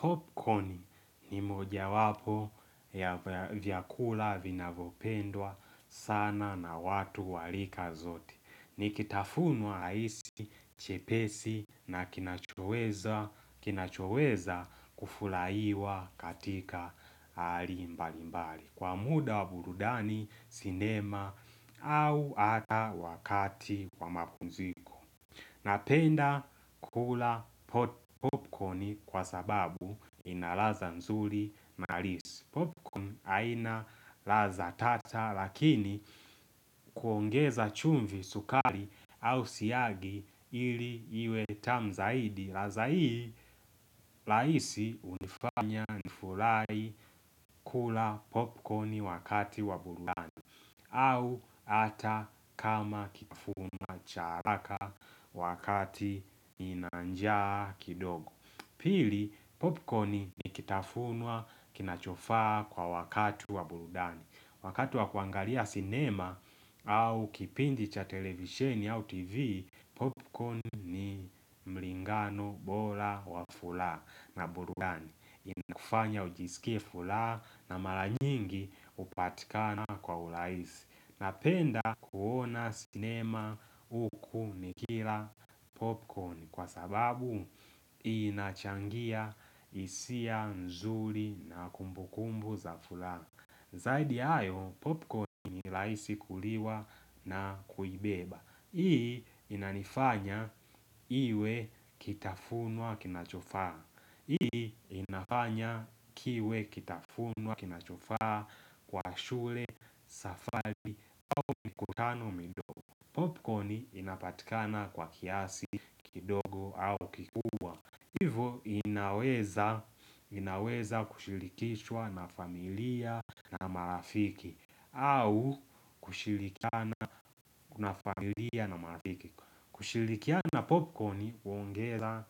Popcorn ni moja wapo ya vyakula vinavopendwa sana na watu wa lika zote ni kitafunwa halisi, chepesi na kinachoweza kufulaiwa katika hali mbali mbali. Kwa muda wa burudani, sinema au ata wakati wa mapumziko. Napenda kula popcorni kwa sababu ina laza nzuri na halisi Popcorni aina laza tata lakini kuongeza chumvi sukari au siagi ili iwe tamu zaidi. Laza hii, laisi hunifanya nifulai kula popcorn wakati wa burudani au ata kama kitafunwa cha haraka wakati ninanjaa kidogo Pili, popcorn ni kitafunwa kinachofaa kwa wakati wa burudani Wakati wa kuangalia cinema au kipindi cha televisheni au tv Popcorn ni mlingano bola wa fulaha na burudani Inakufanya ujisikie fulaha na mara nyingi upatikana kwa ulaisi Napenda kuona sinema uku nikila popcorn Kwa sababu inachangia isia nzuri na kumbukumbu za fulaha Zaidi ya hayo popcorn ni laisi kuliwa na kuibeba Hii inanifanya iwe kitafunwa kinachofaa Hii inafanya kiwe kitafunwa kinachofaa kwa shule, safari, au mikutano midogo Popconi inapatikana kwa kiasi kidogo, au kikubwa Hivo inaweza kushilikishwa na familia na marafiki au kushilikiana na familia na marafiki kushilikiana popcorn uongeza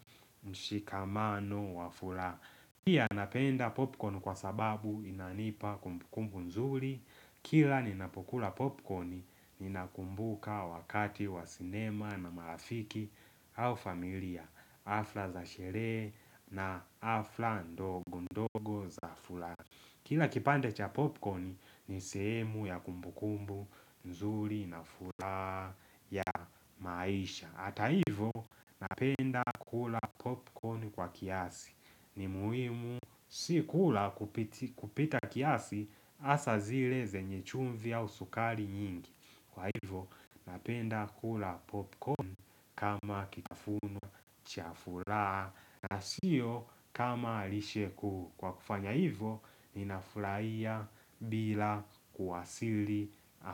mshikamano wa fulaha pia napenda popcorn kwa sababu inanipa kumbukumbu nzuri, kila ninapokula popcorn, ninakumbuka wakati wa sinema na marafiki au familia, afla za sherehe na afla ndogo ndogo za fulaha. Kila kipande cha popcorn ni sehemu ya kumbukumbu, nzuri, nafulaha ya maisha. Hata hivo napenda kula popcorn kwa kiasi. Ni muhimu si kula kupita kiasi hasa zire zenye chumvi au sukari nyingi. Kwa hivo napenda kula popcorn kama kitafunu cha fulaha na sio kama lishe kuu. Kwa kufanya hivyo, ninafurahia bila kuwasili.